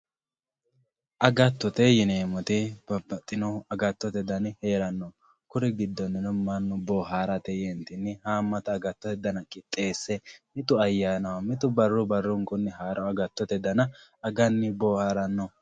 Agatotte yinemoti babaxitino agatotte danni herano kuri gidoninni manu boharatte yenitinni hamatta agatotte agatotte dana qixesse mittu ayyanaho mittu barru barrunkunni haro agatotte dana aganni boharano